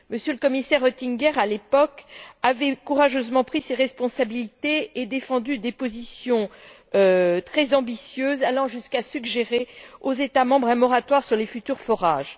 Le Commissaire Oettinger, à l'époque, avait courageusement pris ses responsabilités et défendu des positions très ambitieuses, allant jusqu'à suggérer aux États membres un moratoire sur les futurs forages.